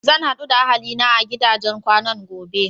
Zan haɗu da ahali na a gidajen kwanan gobe.